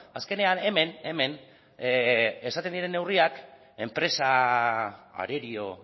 azkenean hemen hemen esaten diren neurriak enpresa arerio